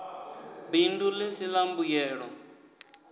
bindu ḽi si ḽa mbuyelo